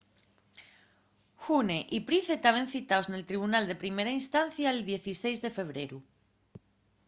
huhne y pryce taben citaos nel tribunal de primera instancia'l 16 de febreru